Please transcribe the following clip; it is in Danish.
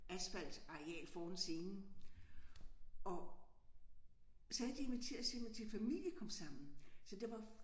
Asfaltareal foran scenen og så havde de inviteret simpelthen til familiekomsammen så der var